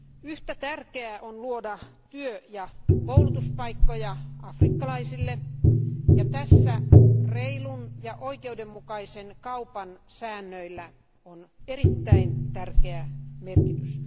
Yhtä tärkeää on luoda työ ja koulutuspaikkoja afrikkalaisille, ja tässä reilun ja oikeudenmukaisen kaupan säännöillä on erittäin tärkeä merkitys.